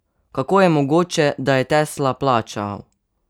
Kako je mogoče, da je Tesla plačal?